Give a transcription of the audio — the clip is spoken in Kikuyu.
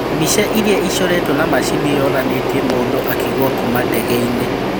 Mbica ĩrria ĩcoretwo na macini yonanĩtie mũndũ akĩgũa kuuma ndege-inĩ